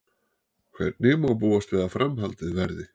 En hvernig má búast við að framhaldið verði?